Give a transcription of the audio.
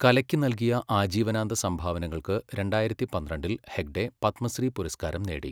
കലയ്ക്ക് നൽകിയ ആജീവനാന്ത സംഭാവനകൾക്ക് രണ്ടായിരത്തി പന്ത്രണ്ടിൽ ഹെഗ്ഡെ പത്മശ്രീ പുരസ്കാരം നേടി.